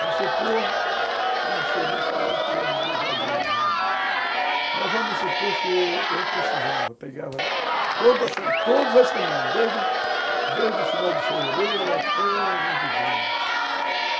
Vamos supor, eu não sei nem falar em termos de valores hoje, mas vamos supor que eu precisava, pegava todas todas as semanas, desde o final de fevereiro até mês de junho.